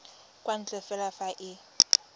kwa ntle fela fa e